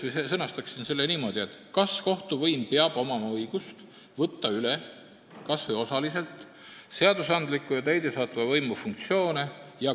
Mina sõnastaksin selle niimoodi: kas kohtuvõimul peab olema õigus võtta kas või osaliselt üle seadusandliku ja täidesaatva võimu funktsioone?